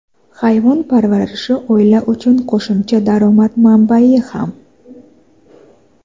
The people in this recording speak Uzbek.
Hayvon parvarishi oila uchun qo‘shimcha daromad manbai ham.